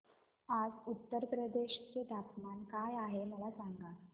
आज उत्तर प्रदेश चे तापमान काय आहे मला सांगा